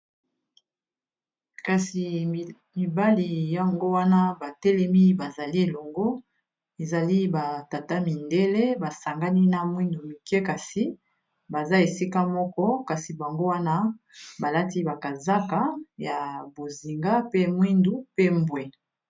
kasi mibali yango wana batelemi bazali elongo ezali batata mindele basangani na mwindu mike kasi baza esika moko kasi bango wana balati bakazaka ya bozinga pe mwindu pe mbwe